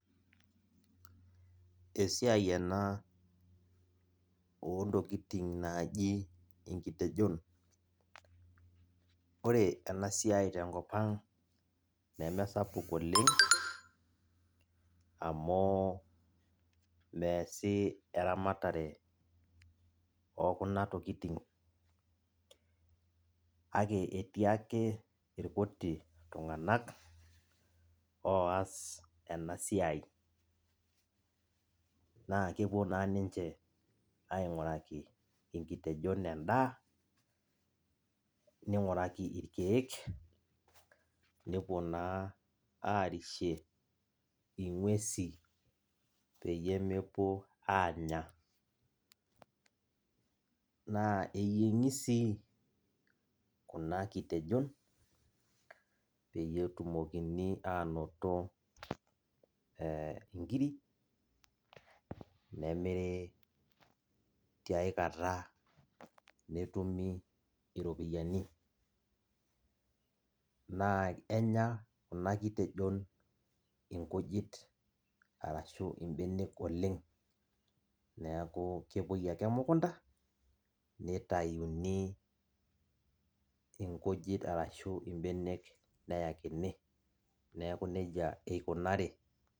Esiai ena ontokitin naji nkitejon, ore enasia tenkopang nemesapuk oleniamu measi eramatare okunatokitin kak etii ake irkuti tunganak oas ena siai, na kepuo na ninche ainguraki nkitejon endaa ninguraki irkiek nepuo na arishie ngwesi pemepuo anya na eyiengi sii kuna kitejon peyie etumokini na ainoto e nkirik nemiri tiaikata netumi iropiyiani na enya kuna kitejon nkujit arashu mbenek oleng neaku kepuoi ake emukunda nitayuni inkujit arashu mbenek neyakini neaku nejia ikunari.